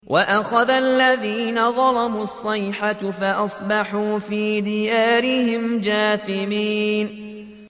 وَأَخَذَ الَّذِينَ ظَلَمُوا الصَّيْحَةُ فَأَصْبَحُوا فِي دِيَارِهِمْ جَاثِمِينَ